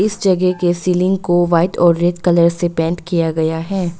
इस जगह के सीलिंग को व्हाइट और रेड कलर से पेंट किया गया है।